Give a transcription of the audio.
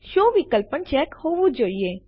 show વિકલ્પ પણ check હોવું જોઈએ